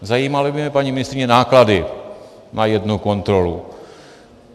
Zajímaly by mě, paní ministryně, náklady na jednu kontrolu.